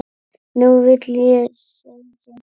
Nú vil ég segja þetta.